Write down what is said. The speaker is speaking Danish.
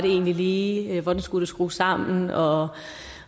egentlig lige var hvordan det skulle skrues sammen og